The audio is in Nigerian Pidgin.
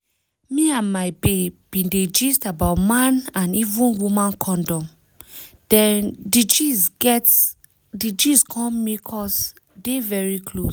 me and my babe bin dey gist about man and even woman condom dem di gist come make us dey very close